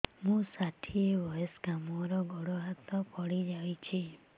ମୁଁ ଷାଠିଏ ବୟସ୍କା ମୋର ଗୋଡ ହାତ ପଡିଯାଇଛି